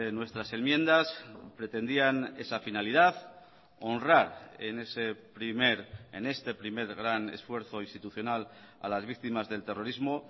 nuestras enmiendas pretendían esa finalidad honrar en ese primer en este primer gran esfuerzo institucional a las víctimas del terrorismo